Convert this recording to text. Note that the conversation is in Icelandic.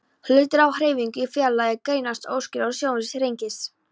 Hlutir á hreyfingu í fjarlægð greinast óskýrar og sjónsviðið þrengist.